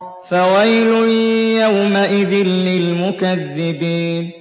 فَوَيْلٌ يَوْمَئِذٍ لِّلْمُكَذِّبِينَ